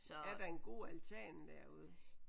Er der en god altan derude?